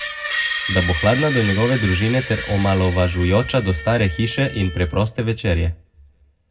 Da bo hladna do njegove družine ter omalovažujoča do stare hiše in preproste večerje.